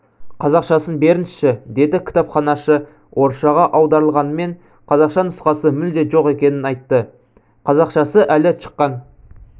қазақшасын беріңізші деді кітапханашы орысшаға аударылғанымен қазақша нұсқасы мүлде жоқ екенін айтты қазақшасы әлі шыққан